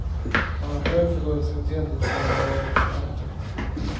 Han var själv förbundskapten tills han en dag fick sparken.